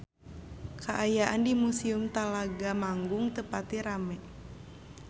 Kaayaan di Museum Telaga Manggung teu pati rame